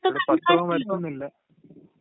ഇവിടെ പത്രോം വരുത്തുവൊന്നുമില്ല.